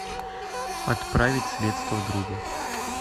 отправить средства другу